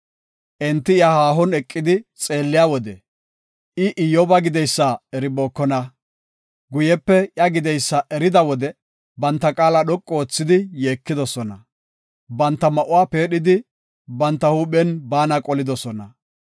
Enti iya haahon eqidi xeelliya wode I Iyyoba gideysa eribookona. Guyepe iya gideysa erida wode banta qaala dhoqu oothidi yeekidosona; banta ma7uwa peedhidi, banta huuphen baana qolidosona.